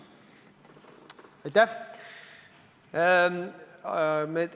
Aitäh!